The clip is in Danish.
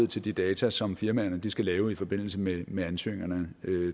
til de data som firmaerne skal lave i forbindelse med med ansøgningerne